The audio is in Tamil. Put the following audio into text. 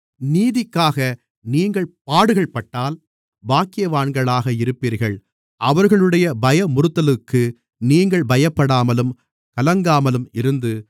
நீதிக்காக நீங்கள் பாடுகள்பட்டால் பாக்கியவான்களாக இருப்பீர்கள் அவர்களுடைய பயமுறுத்தலுக்கு நீங்கள் பயப்படாமலும் கலங்காமலும் இருந்து